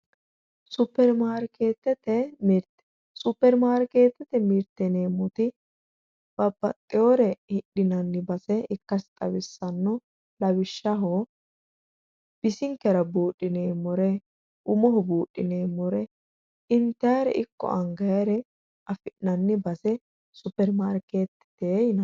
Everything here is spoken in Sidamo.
Superimaarikeetete mirteeti yineemmoti babbaxxewoore hidhinanni base ikkase xawissanno lawishshaho bisinkera buudhineemmore umoho buudhineemmore intayiire ikko angayiire afi'nanni base superimaarikeetete yinanni